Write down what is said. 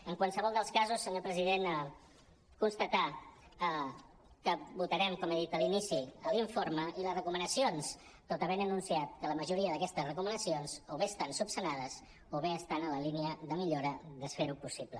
en qualsevol dels casos senyor president constatar que votarem com he dit a l’inici l’informe i les recomanacions tot havent anunciat que la majoria d’aquestes recomanacions o bé estan resoltes o bé estan en la línia de millora de fer·ho possible